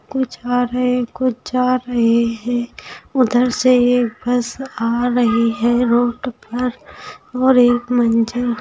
कुछ आ रहे हैं कुछ जा रहे हैं उधर से एक बस आ रही है रोड पर और एक मंजर --